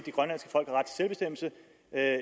at